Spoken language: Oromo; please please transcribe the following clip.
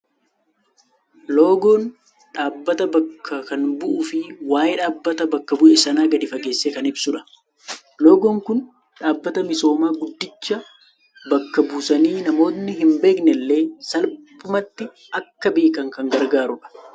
Loogoon dhaabbata bakka kan bu'uu fi waa'ee dhaabbata bakka bu'e sanaa gad fageessee kan ibsudha. Loogoon Kun dhaabbata misoomaa guddicha bakka buusanii namootni hin beekne illee salphumatti akka beekan kan gargaarudha.